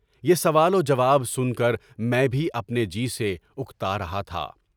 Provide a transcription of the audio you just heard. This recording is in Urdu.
یہ سوال جواب سن کر میں بھی اپنے جی سے اکتا رہا تھا۔